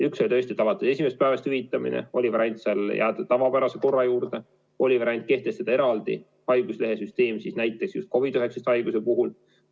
Üks oli tõesti alates esimesest päevast hüvitamine, aga variandid olid ka jääda tavapärase korra juurde ja kehtestada eraldi haiguslehe süsteem COVID-19 haiguse korral.